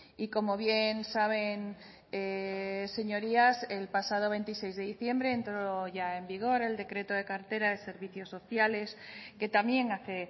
y como bien saben señorías el pasado veintiséis de diciembre entró ya en vigor el decreto de cartera de servicios sociales que también hace